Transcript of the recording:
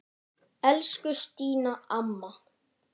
Elsku Stína amma.